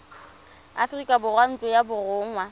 aforika borwa ntlo ya borongwa